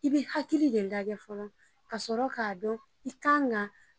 I bɛ hakili de lajɛ fɔlɔ kasɔrɔ k'a dɔn i kan ka